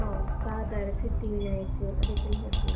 ಹೌದು. ದಾದರ್, ಸಿದ್ಧಿವಿನಾಯಕ್ ಅದಕ್ಕೆಲ್ಲ ಹೋಗ್ಬೋದು.